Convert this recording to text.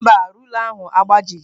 Mba, rula ahụ agbajighị.